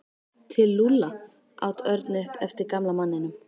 Til Lúlla? át Örn upp eftir gamla manninum.